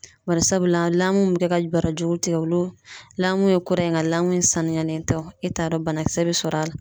Barisabula mun bi kɛ ka barajuru tigɛ olu ye kura ye nka in sanuyalen tɛ o e t'a dɔn banakisɛ bɛ sɔrɔ a la.